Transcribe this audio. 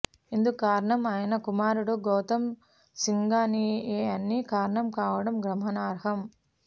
ఇందుకు కారణం ఆయన కుమారుడు గౌతమ్ సింఘానియానే కారణం కావడం గమనార్హం